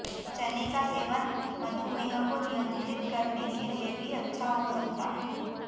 चने का सेवन मधुमेह को नियंत्रित करने के लिए भी अच्छा हो सकता है